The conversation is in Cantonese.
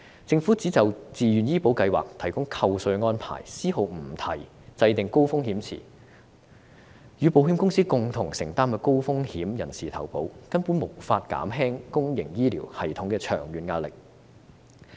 政府提出就自願醫保計劃提供扣稅安排，絲毫不提制訂高風險池，與保險公司共同承擔高風險人士投保，這樣根本無法減輕公營醫療系統的長遠壓力。